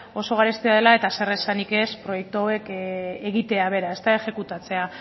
oso garestia dela eta zeresanik ez proiektu hauek egitea bera exekutatzea